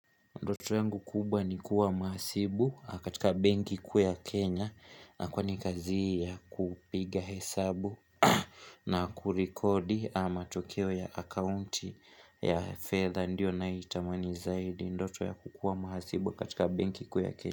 Ndoto yangu kubwa ni kuwa mhasibu katika benki kuu ya Kenya na kwa ni kazi ya kupiga hesabu na kurikodi a matokeo ya accounti ya fedha Ndio nayoitamani zaidi ndoto ya kukua mhasibu katika benki kuu ya Kenya.